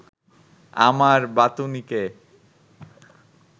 আমার বাতুনিকে